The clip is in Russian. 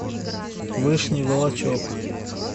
вышний волочек